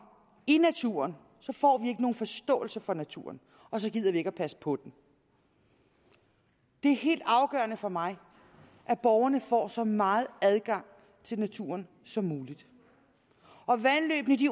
i naturen får vi ikke nogen forståelse for naturen og så gider vi ikke passe på den det er helt afgørende for mig at borgerne får så meget adgang til naturen som muligt vandløbene